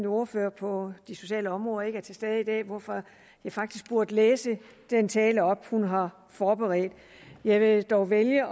ordfører på det sociale område ikke er tilbage i dag hvorfor jeg faktisk burde læse den tale op hun har forberedt jeg vil dog vælge